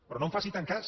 però no en faci tant cas